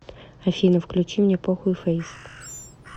афина включи мне похуй фэйс